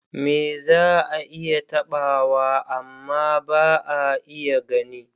Me za a iya taɓawa amma ba a iya gani?